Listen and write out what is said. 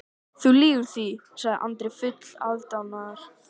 Þú lýgur því, sagði Andri fullur aðdáunar.